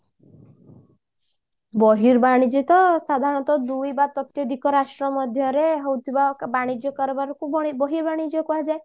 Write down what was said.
ବର୍ହିବାଣିଜ୍ୟ ତ ସାଧାରଣତ ଦୁଇ ବା ତତ୍ବଧିକ ରାଷ୍ଟ୍ର ମଧ୍ୟରେ ହଉଥିବା ବାଣିଜ୍ୟ କାରବାରକୁ ବର୍ହିବାଣିଜ୍ୟ କୁହାଯାଏ